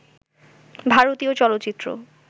ভারতীয় চলচ্চিত্র